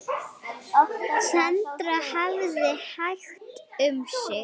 Sandra hafði hægt um sig.